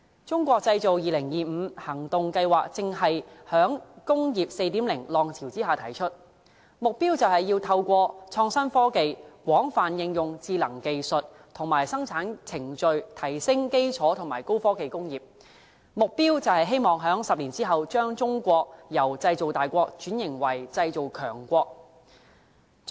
《中國製造2025》行動計劃正是在"工業 4.0" 浪潮之下提出，目標是透過創新科技、廣泛應用智能技術和生產程序、提升基礎和高科技工業，希望在10年之後，把中國由"製造大國"轉型為"製造強國"。